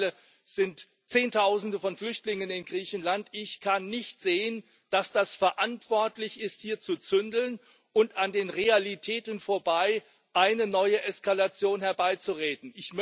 Mittlerweile sind Zehntausende von Flüchtlingen in Griechenland. Ich kann nicht sehen, dass es verantwortlich ist, hier zu zündeln und an den Realitäten vorbei eine neue Eskalation herbeizureden.